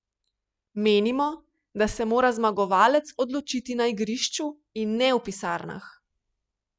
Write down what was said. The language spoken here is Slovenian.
Menimo, da se mora zmagovalec odločiti na igrišču in ne v pisarnah.